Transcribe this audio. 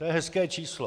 To je hezké číslo.